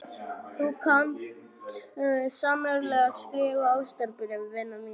Þú kant sannarlega að skrifa ástarbréf, vina mín.